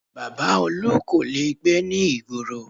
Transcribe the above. Baba Olu kò lè gbé ní ìgboro